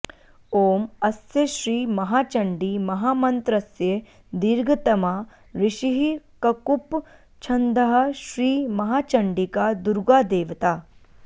ॐ अस्यश्री महाचण्डी महामन्त्रस्य दीर्घतमा ऋषिः ककुप् छन्दः श्री महाचण्डिका दुर्गा देवता